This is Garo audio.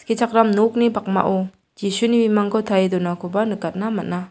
nokni pakmao jisuni bimangko tarie donakoba nikatna man·a.